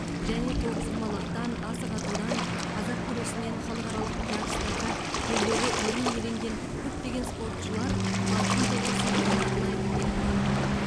және тоғызқұмалақтан асық атудан қазақ күресінен халықаралық жарыстарда жүлделі орын иеленген көптеген спортшылар алтын тұғыр сыйлығына лайық деп танылды